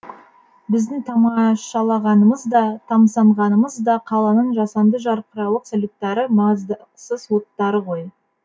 біздің тамашалағанымыз да тамсанғанымыз да қаланың жасанды жарқырауық салюттары маздақсыз оттары ғой